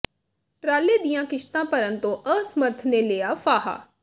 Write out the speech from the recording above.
ਟਰਾਲੇ ਦੀਆਂ ਕਿਸ਼ਤਾਂ ਭਰਨ ਤੋਂ ਅਸਮਰਥ ਨੇ ਲਿਆ ਫਾਹਾ